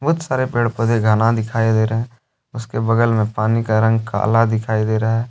बहुत सारे पेड़ पौधे घना दिखाई दे रहे हैं उसके बगल में पानी का रंग काला दिखाई दे रहा है।